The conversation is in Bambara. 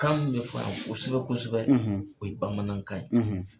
Kan mun be fɔ yan kosɛbɛ kosɛbɛ o ye bamanankan ye